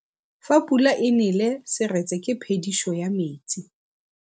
Fa pula e nele seretse ke phediso ya metsi.